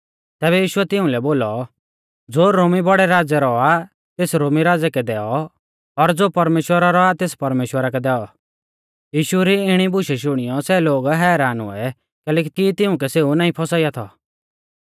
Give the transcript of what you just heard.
तैबै यीशुऐ तिउंलै बोलौ ज़ो रोमी बौड़ै राज़ै रौ आ तेस रोमी राज़ै कै दैऔ और ज़ो परमेश्‍वरा रौ आ तेस परमेश्‍वरा कै दैऔ यीशु री इणी बुशै शुणियौ सै लोग हैरान हुऐ कैलैकि तिऊं कै सेऊ नाईं फौसाइया थौ